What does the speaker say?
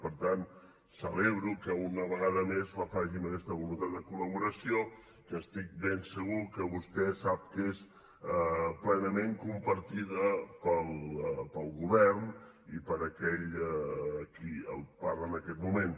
per tant celebro que una vegada més la faci amb aquesta voluntat de col·laboració que estic ben segur que vostè sap que és plenament compartida pel govern i per aquell qui li parla en aquest moment